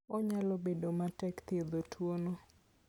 Onyalo bedo matek thiedho tuwono.